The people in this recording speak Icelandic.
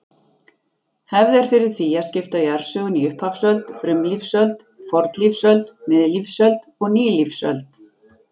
Hefð er fyrir því að skipta jarðsögunni í upphafsöld, frumlífsöld, fornlífsöld, miðlífsöld og nýlífsöld.